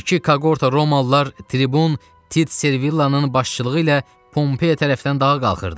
İki kaqorta romalılar tribun Tit Servilianın başçılığı ilə Pompeya tərəfdən dağa qalxırdı.